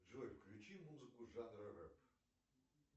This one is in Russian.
джой включи музыку жанра рэп